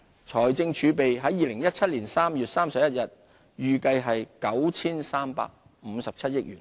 財政儲備在2017年3月31日預計為 9,357 億元。